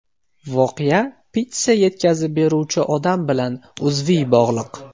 Voqea pitssa yetkazib beruvchi odam bilan uzviy bog‘liq.